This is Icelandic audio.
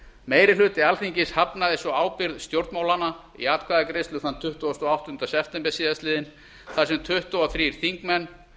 meiri hluti alþingis hafnaði svo ábyrgð stjórnmálanna í atkvæðagreiðslu þann tuttugasta og áttunda september síðastliðinn þar sem tuttugu og þrír þingmenn